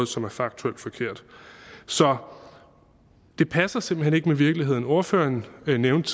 som er faktuelt forkert så det passer simpelt hen ikke med virkeligheden ordføreren nævnte